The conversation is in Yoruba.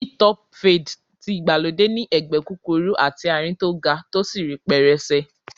Hi-top fade tí ìgbàlódé ní ẹ̀gbẹ́ kúkúrú àti àárín tó ga tó sì rí pẹrẹsẹ.